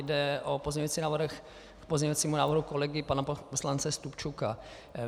Jde o pozměňující návrh k pozměňujícímu návrhu kolegy pana poslance Stupčuka.